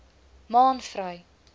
maanvry